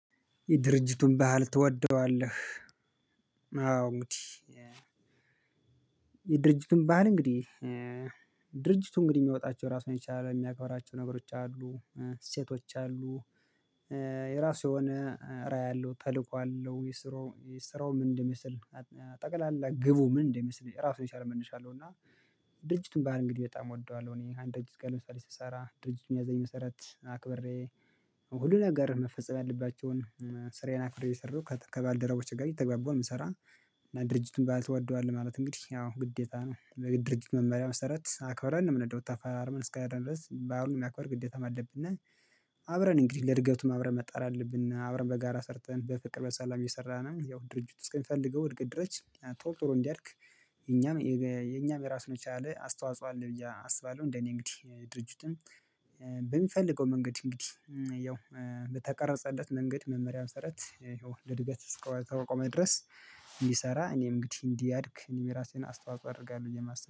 የድርጅቱን ባህል ትወደዋለህ? አዎ እንግዲህ የድርጅቱን ባህል እንግዲህ ድርጅቱ እንግዲህ የሚወጣቸው ራሱን የቻለ የሚያከብራቸው ነገሮች አሉ። ሴቶች አሉ፤ የራሱ የሆነ ራዕይ አለው ተልእኮ አለው፤ የስራው ስራው ምን እንደሚመስል፤ ጠቅላላ ግቡ ምን እንደሚመስል ራሱን የቻለ መነሻ አለው፤ እና ድርጅቱን ባህል እንግዲህ በጣም እወደዋለሁ። እኔ አንድ ድርጅት ጋር ለምሳሌ ስሰራ ድርጅቱ በሚያዘኝ መሰረት አክብሬ ሁሉ ነገር መፈጸም ያለባቸውን ስራዬን አክብሬ እየሰራሁ ከባልደረቦች ጋር እየተገባባው ነው የምሰራው። እና ድርጅቱን ባህል ትወደዋል ማለት እንግዲህ ያው ግዴታ ነው። ለድድርጅት መመሪያ መሰረት አክበረን ነው የምንሄደው ተፈራርመን እስከሄድን ድረስ በአሁን የማያክበር ግዴታም አለብን። አብረን እንግዲህ ለድገቱም አብረን መጣር አለብን። አብረን በጋራ ሰርተን በፍቅር በሰላም እየሰራንም ያው ድርጅቱ እስከሚፈልገው እድገት ድረስ ቶሎ ቶሎ እንዲያድግ የኛም የኛም የራሱን የቻለ አስተዋጽኦ አለ ብዬ አስባለሁ። እንደኔ እንግዲህ ድርጅቱን በሚፈልገው መንገድ እንግዲህ ያው በተቀረጸለት መንገድ መመሪያ መሰራት ያው ለእድገት እስኮ ከቆመ ድረስ ይሰራ እኔም እንግዲህ እንዲያድግ እኔም ራሴን አስተዋጽኦ አደርጋለሁ ብዬ ነው የማስበው።